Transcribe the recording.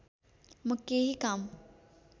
म केहि काम